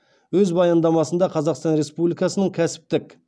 өз баяндамасында қазақстан республикасының кәсіптік